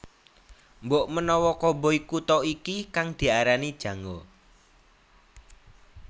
Mbokmenawa koboi Kuta iki kang diarani Jango